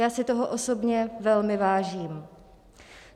Já si toho osobně velmi vážím.